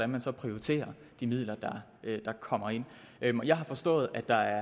man så prioriterer de midler der kommer ind jeg har forstået at der